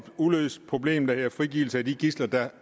uløst problem der hedder frigivelse af de gidsler der